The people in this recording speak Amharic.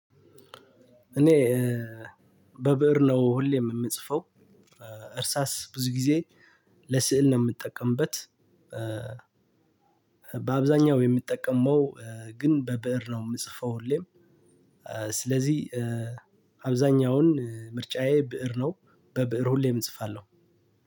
እኔ በብእር ነው ሁሌም የምጽፈው እርሳስ ብዙ ጊዜ ለስዕል ነው የምጠቀምበት። በአብዛኛው የምጠቀመው ግን በብእር ነው የምጽፈው ሁሌም። ስለዚህ አብዛኛውን ምርጫየ በዕር ነው በብእር ሁሌም እጽፋለሁ።